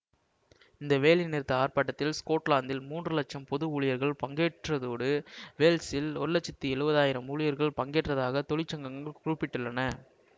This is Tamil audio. இந்த வேலை நிறுத்த ஆர்ப்பாட்டத்தில் ஸ்கொட்லாந்தில் மூன்று லட்சம் பொது ஊழியர்கள் பங்கேற்றதோடு வேல்சில் ஒரு லட்சத்தி எழுவது ஆயிரம் ஊழியர்கள் பங்கேற்றதாக தொழிற் சங்கங்கள் குறிப்பிட்டுள்ளன